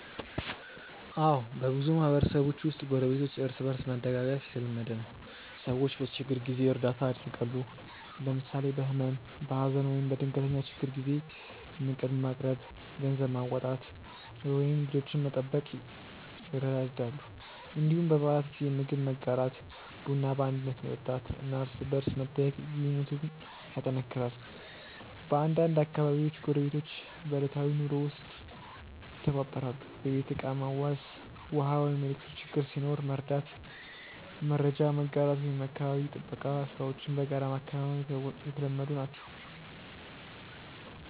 አዎ፣ በብዙ ማህበረሰቦች ውስጥ ጎረቤቶች እርስ በእርስ መደጋገፍ የተለመደ ነው። ሰዎች በችግር ጊዜ እርዳታ ያደርጋሉ፣ ለምሳሌ በህመም፣ በሀዘን ወይም በድንገተኛ ችግር ጊዜ ምግብ ማቅረብ፣ ገንዘብ ማዋጣት ወይም ልጆችን መጠበቅ ይረዳዳሉ። እንዲሁም በበዓላት ጊዜ ምግብ መጋራት፣ ቡና በአንድነት መጠጣት እና እርስ በርስ መጠያየቅ ግንኙነቱን ያጠናክራል። በአንዳንድ አካባቢዎች ጎረቤቶች በዕለታዊ ኑሮ ውስጥም ይተባበራሉ፤ የቤት ዕቃ መዋስ፣ ውሃ ወይም ኤሌክትሪክ ችግር ሲኖር መርዳት፣ መረጃ መጋራት ወይም የአካባቢ ጥበቃ ሥራዎችን በጋራ ማከናወን የተለመዱ ናቸው።